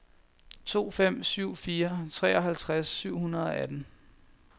to fem syv fire treoghalvtreds syv hundrede og atten